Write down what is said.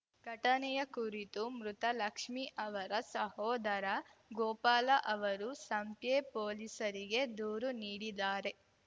ಘಟನೆಯ ಕುರಿತು ಮೃತ ಲಕ್ಷ್ಮೀ ಅವರ ಸಹೋದರ ಗೋಪಾಲ ಅವರು ಸಂಪ್ಯ ಪೊಲೀಸರಿಗೆ ದೂರು ನೀಡಿದ್ದಾರೆ